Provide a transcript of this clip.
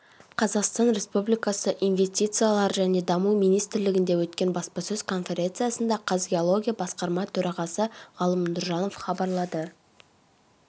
қазақстан республикасы инвестициялар және даму министрлігінде өткен баспасөз конференциясында қазгеология басқарма төрағасы ғалым нұржанов хабарлады